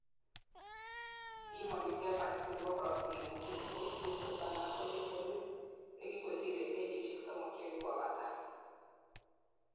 pimoni average nebo korotigkuk chetinyei glucose anan ko levelit nekikosir en kenyisiek somok chekikobata